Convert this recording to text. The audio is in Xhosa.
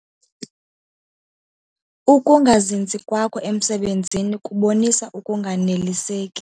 Uukungazinzi kwakho emisebenzini kubonisa ukunganeliseki.